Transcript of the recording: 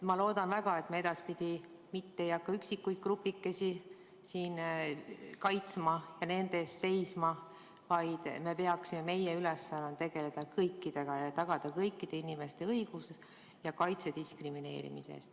Ma loodan väga, et me edaspidi ei hakka üksikuid grupikesi siin kaitsma ja nende eest seisma, vaid meie ülesanne on tegeleda kõikidega ja tagada kõikide inimeste õigused ja kaitse diskrimineerimise eest.